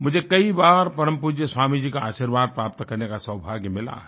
मुझे कई बार परम पूज्य स्वामी जी का आशीर्वाद प्राप्त करने का सौभाग्य मिला है